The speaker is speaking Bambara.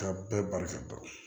Ka bɛɛ barika dɔn